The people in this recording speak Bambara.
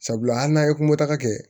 Sabula hali n'a ye kunkota kɛ